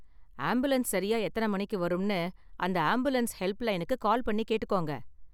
Ambulance சரியா எத்தன மணிக்கு வரும்னு அந்த ஆம்புலன்ஸ் ஹெல்ப்லைனுக்கு கால் பண்ணி கேட்டுக்கோங்க.